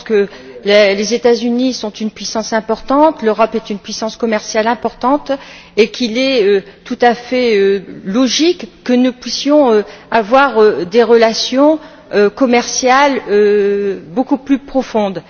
Je pense que les États Unis sont une puissance importante, l'Europe est une puissance commerciale importante et qu'il est tout à fait logique que nous puissions avoir des relations commerciales beaucoup plus profondes.